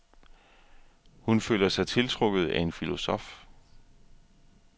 Hun føler sig tiltrukket af en filosof.